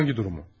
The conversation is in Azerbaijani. Hansı durumu?